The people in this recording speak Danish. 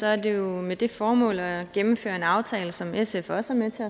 er det jo med det formål at gennemføre en aftale som sf også